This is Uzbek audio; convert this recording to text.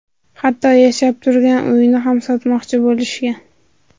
Hatto yashab turgan uyini ham sotmoqchi bo‘lishgan.